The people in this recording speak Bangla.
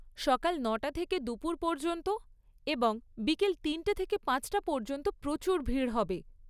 সকাল নটা থেকে দুপুর পর্যন্ত এবং বিকেল তিনটে থেকে পাঁচটা পর্যন্ত প্রচুর ভিড় হবে।